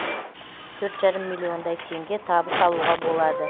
төрт жарым миллиондай теңге табыс алуға болады